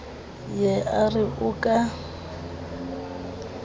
ye a re o ka